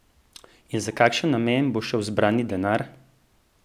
In za kakšen namen bo šel zbrani denar?